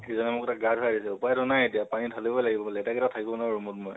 সেইজনকো গা ধুৱাই দিলো, উপাই টো নাই এতিয়া, পানি ধালিবৈ লাগিব, লেতেৰাকে তো থাকিব নোৱাৰো মই।